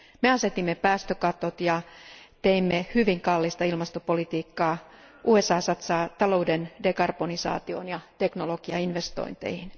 Me asetimme päästökatot ja teimme hyvin kallista ilmastopolitiikkaa, USA satsaa talouden dekarbonisaatioon ja teknologiainvestointeihin.